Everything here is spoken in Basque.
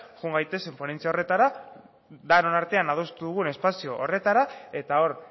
joan gaitezen ponentzia horretara denon artean adostu dugun espazio horretara eta hor